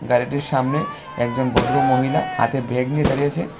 গাড়িটির সামনে একজন ভদ্রমহিলা হাতে ব্যাগ নিয়ে দাঁড়িয়ে আছেন।